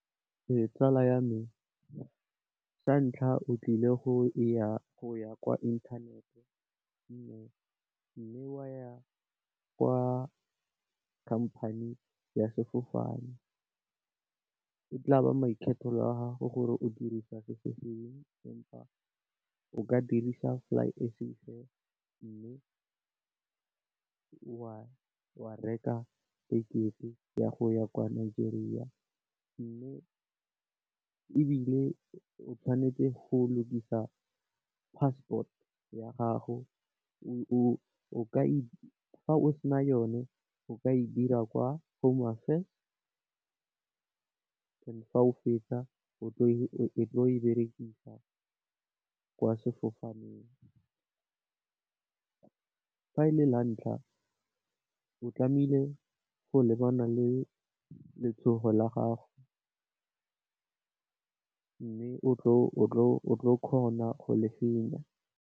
Ee tsala ya me, sa ntlha o tlile go ya kwa inthanete. Mme wa ya kwa khamphane ya sefofane, e tla ba maikgethelo a gago gore o dirisa se se feng empa o ka dirisa Flysafair. Mme wa reka tekete ya go ya kwa Nigeria mme ebile o tshwanetse go lukisa passport ya gago o ka e fa o sena yone o ka e dira kwa home affairs. Fa o fetsa o tlo e berekisa kwa sefofaneng, fa e le la ntlha o tlamehile go lebana le letshogo la gago, mme o kgona go le fenya.